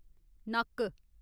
नक्क